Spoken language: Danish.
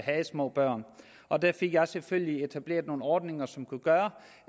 havde små børn og der fik jeg selvfølgelig etableret nogle ordninger som kunne gøre